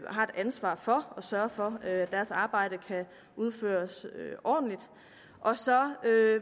har et ansvar for at sørge for at deres arbejde kan udføres ordentligt så